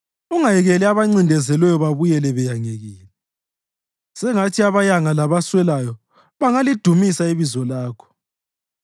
Ungayekeli abancindezelweyo babuyele beyangekile; sengathi abayanga labaswelayo bangalidumisa ibizo lakho.